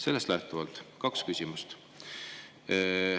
Sellest lähtuvalt kaks küsimust.